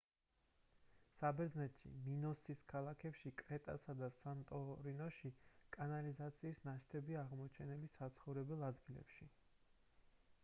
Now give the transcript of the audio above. საბერძნეთში მინოსის ქალაქებში კრეტასა და სანტორინში კანალიზაციის ნაშთებია აღმოჩენილი საცხოვრებელ ადგილებში